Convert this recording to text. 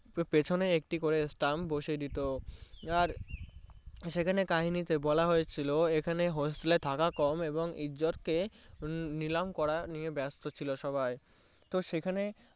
তার পেছনে করে একটি করে সতাং বসিয়ে দিতো আর সেখানে কাহিনী তে বলা হয়েছিলো থাকা কওম ইজ্জত কে নিলাম করা নিয়ে বেস্ট ছিল সবাই তো সেখানে